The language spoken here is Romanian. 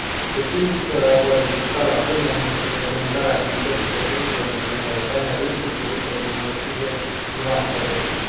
Cât timp vor exista lacune în reglementarea activităților băncilor din Uniunea Europeană, riscul producerii unor noi crize nu va fi depășit.